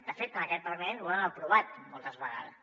de fet en aquest parlament ho hem aprovat moltes vegades